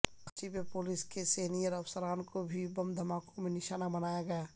کراچی میں پولیس کے سینیئر افسران کو بھی بم دھماکوں میں نشانہ بنایا گیا